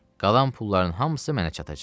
Qalan pulların hamısı mənə çatacaq.